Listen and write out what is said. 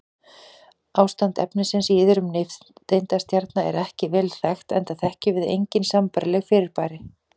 Ástand efnisins í iðrum nifteindastjarna er ekki vel þekkt enda þekkjum við engin sambærileg fyrirbæri.